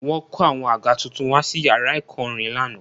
Wọ́n kó àwọn àga tuntun wá sí yàrá ẹ̀kọ́ orin lánàá